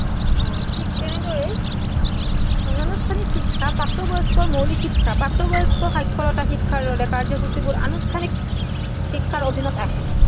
অ ঠিক তেনেদৰেই অনানুষ্ঠানিক শিক্ষা প্ৰাপ্তবয়স্কৰ মৌলিক শিক্ষা। প্ৰাপ্তবয়স্ক সাক্ষৰতা শিক্ষাৰ দৰে কাৰ্যসূচীবোৰ আনুষ্ঠানিক শিক্ষাৰ অধীনত আহে